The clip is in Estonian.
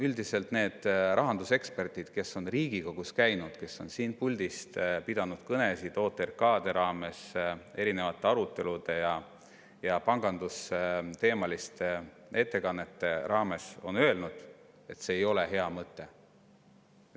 Üldiselt need rahanduseksperdid, kes on Riigikogus käinud, kes on siit puldist pidanud kõnesid OTRK‑de raames, erinevate arutelude ja pangandusteemaliste ettekannete raames, on öelnud, et see ei ole hea mõte.